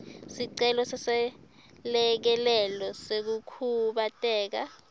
sicelo seselekelelo sekukhubateka